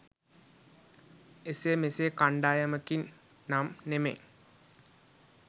එසේ මෙසේ කණ්ඩායමකින් නම් නෙමෙයි.